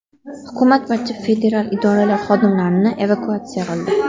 Hukumat barcha federal idoralar xodimlarini evakuatsiya qildi.